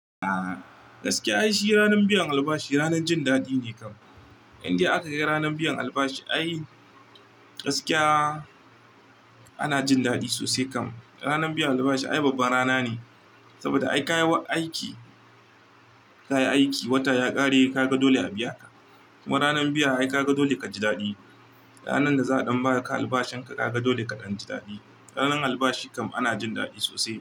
A gaskiya ai shi ranar biyan albashi ranar jin daɗi ne kam. Indai aka kai ranar biyan albashi ai gaskiya ana jin daɗi sosai kam. Ranar biyan albashi ai babbar rana ne, saboda ai ka yi aiki, ka yi aiki wata ya ƙare ka ga dole a biya ka. Kuma ranar biya ai ka ga dole ka ji daɗi. Ranar da za a ɗan ba ka albashin ka ka ga dole ka ɗan ji daɗi. Ranar albashi kam ana jin daɗi sosai.